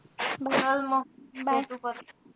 चल म. भेटू परत.